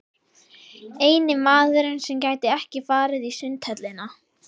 Eini maðurinn sem gæti ekki farið í Sundhöllina.